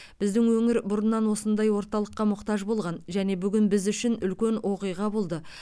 біздің өңір бұрыннан осындай орталыққа мұқтаж болған және бүгін біз үшін үлкен оқиға болды